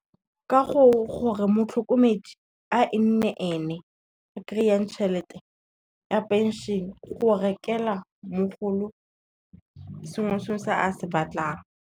Ke gore motlhokomedi a e nne ene a kry-ang tšhelete ya pension go rekela mogolo sengwe se o se a se batlang.